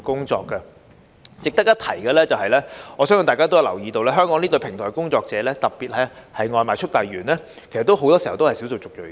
值得一提的是，我相信大家也有留意到，香港這類平台工作者，特別是外賣速遞員，其實不少都是少數族裔人士。